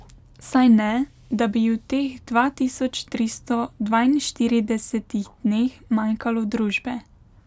Saj ne, da bi ji v teh dva tisoč tristo dvainštiridesetih dneh manjkalo družbe.